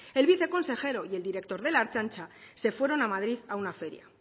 el viceconsejero y el director de la ertzaintza se fueron a madrid a una feria